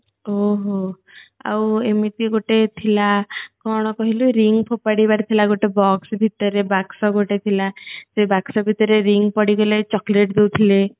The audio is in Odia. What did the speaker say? ହୁଁ ହୁଁ ଆଉ ଏମିତି ଗୋଟେ ଥିଲା କଣ କହିଲୁ ring ଫୋତାଡି ବାର ଥିଲା ଗୋଟେ box ଭିତରେ ବାକ୍ସ ଗୋଟେ ଥିଲା ସେଇ ବାକ୍ସ ଭିତରେ ring ପଡିଗଲେ chocolate ଦଉଥିଲେ